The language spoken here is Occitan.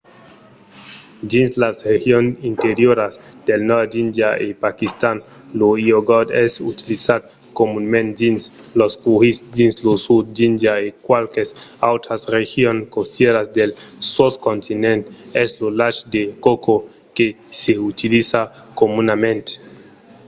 dins las regions interioras del nòrd d'índia e paquistan lo iogort es utilizat comunament dins los currys; dins lo sud d'índia e qualques autras regions costièras del soscontinent es lo lach de coco que s'utiliza comunament